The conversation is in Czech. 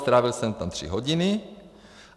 Strávil jsem tam tři hodiny.